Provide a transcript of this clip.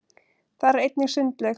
þar er einnig sundlaug